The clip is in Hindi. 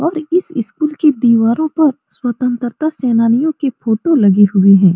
और इस स्कूल की दीवारों पर स्वतंत्रता सेनानियों के फोटो लगे हुए है।